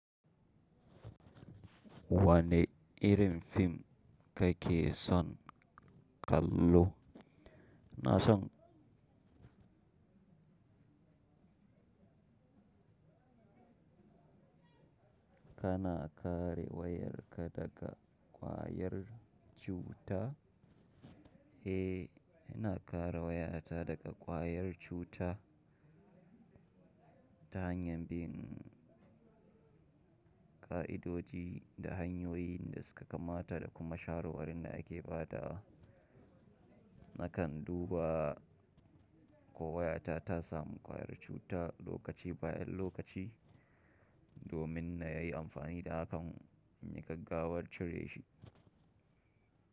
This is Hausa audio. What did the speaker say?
Wane irin fim kake son kallo? Na san kana kare wayarka daga kwayar cuta? Eh, ina kare wayata daga kwayar cuta ta hanyar bin ka'idoji da hanyoyin da suka kamata da kuma shawarwarin da ake ba da. Nakan duba ko wayata ta samu kwayar cuta lokaci bayan lokaci domin na yi amfani da hakan in yi gaggawar cire shi.